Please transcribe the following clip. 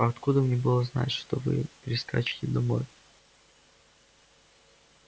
а откуда мне было знать что вы прискачете домой